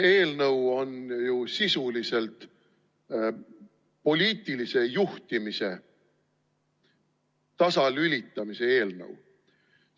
See eelnõu on ju sisuliselt poliitilise juhtimise tasalülitamise eelnõu.